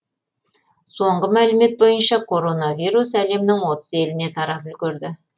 соңғы мәлімет бойынша короноавирус әлемнің отыз еліне тарап үлгерді